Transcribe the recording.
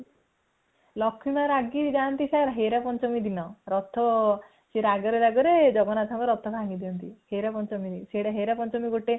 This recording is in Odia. ଲକ୍ଷ୍ମୀ ବ ରାଗି ଯାନ୍ତି ହେରା ପଞ୍ଚମୀ ଦିନ ରଥ ସେ ରାଗ ରେ ରାଗ ରେ ଜଗନ୍ନାଥଙ୍କ ରଥ ଭାଙ୍ଗି ଦିଅନ୍ତି ହେରା ପଞ୍ଚନ୍ତି ହେରା ପଞ୍ଚମୀ ଗୋଟେ